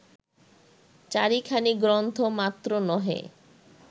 চারিখানি গ্রন্থ মাত্র নহে